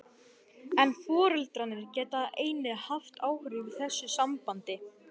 En foreldrarnir geta einnig haft áhrif í þessu sambandi.